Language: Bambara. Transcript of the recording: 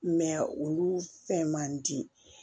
olu fɛn man di